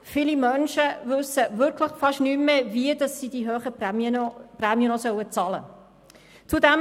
Viele Menschen wissen wirklich fast nicht mehr, wie sie die hohen Prämien noch bezahlen sollen.